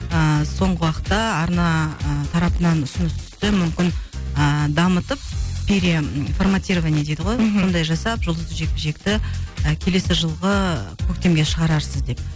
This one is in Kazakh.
ыыы соңғы уақытта арна ы тарапынан сөз түсті мүмкін ыыы дамытып переформатирование дейді ғой мхм сондай жасап жұлдызды жекпе жекті і келесі жылғы көктемге шығарарсыз деп